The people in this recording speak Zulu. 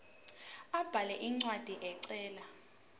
abhale incwadi ecela